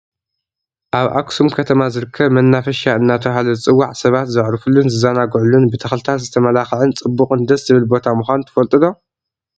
ኣብ ኣክሱም ከተማ ዝርከብ መናፈሻ እንዳተባሃለ ዝፅዋዕ ሰባት ዝዕርፉሉን ዝዛናግዕሉን ብተክልታት ዝተማላከዓን ፅቡቅን ደስ ዝብል ቦታ ምኳኑ ትፈልጡ ዶ ?